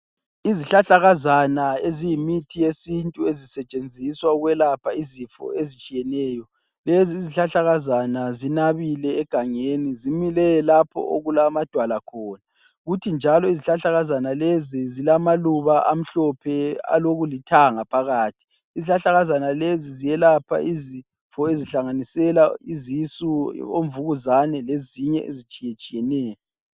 Izihlahlakazana eziyimithi yesintu ezisetsenziswa ukwelapha izifo ezitshiyeneyo .Lezi izihlahlakazana zinabile egangeni zimile lapho okulamadwala khona kuthi njalo izihlahlakazana lezi zilamaluba amhlophe alokulithanga phakathi, izihlahlakazana lezi zelapha izifo ezihlanganisela izisu, omvukuzane lezinye ezitshiyetshiyeneyo.